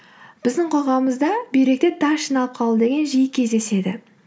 біздің қоғамымызда бүйректе тас жиналып қалу деген жиі кездеседі